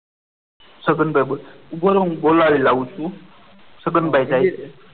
છગનભાઈ બોલ્યા ઉભો રે હું બોલાવી લઉં છું છગનભાઈ કહે છે.